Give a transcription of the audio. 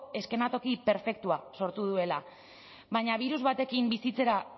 eskenatoki perfektua sortu duela baina birus batekin bizitzera